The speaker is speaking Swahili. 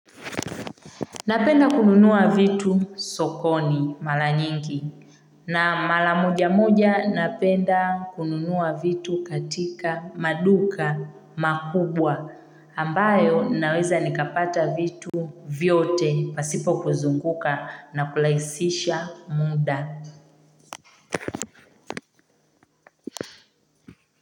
Napenda kununua vitu sokoni mala nyingi na mala moja moja napenda kununua vitu katika maduka makubwa ambayo naweza nikapata vitu vyote pasipo kuzunguka na kulaisisha muda.